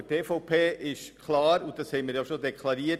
Für die EVP ist es klar: